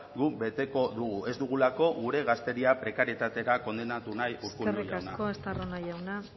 guk beteko dugu ez dugulako gure gazteria prekarietatera kondenatu nahi urkullu jauna eskerrik asko estarrona jauna